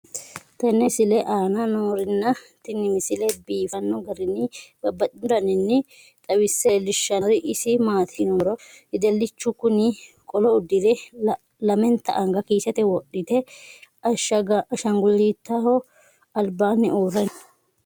tenne misile aana noorina tini misile biiffanno garinni babaxxinno daniinni xawisse leelishanori isi maati yinummoro wedelichchu kunni qolo udiire, lamentta anga kiissette wodhitte, ashangulootaho alibbanni uure nooha